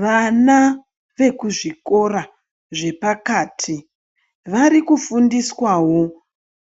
Vana vekuzvikora zvepakati varikufundiswawo